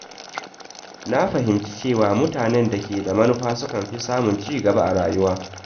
Na fahimci cewa mutane da ke da manufa sukan fi samun ci gaba a rayuwa.